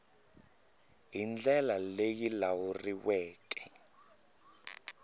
hi ndlela leyi yi lawuleriweke